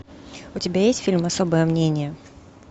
у тебя есть фильм особое мнение